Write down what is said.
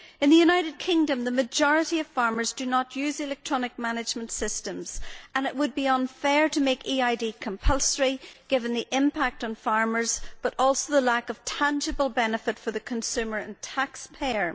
In the United Kingdom the majority of farmers do not use electronic management systems, and it would be unfair to make EID compulsory, given the impact on farmers but also the lack of tangible benefits for the consumer and taxpayer.